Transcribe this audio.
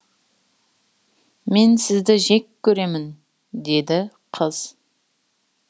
мен сізді жек көремін деді қыз